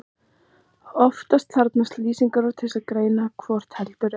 Oftast þarf lýsingarorð til að greina hvort heldur er.